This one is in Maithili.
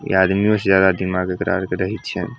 इ आदमियों से ज्यादा दिमाग एकरा आर के रहे छै।